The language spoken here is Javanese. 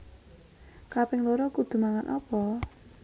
Kaping loro kudu mangan opo?